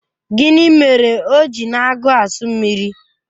Gịnị mere o ji na-agu asu mmiri?